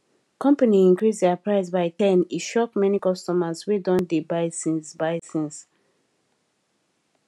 company increase their price by ten e shock many customers wey don dey buy since buy since